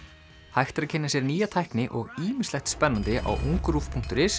hægt er að kynna sér nýja tækni og ýmislegt spennandi á ungruv punktur is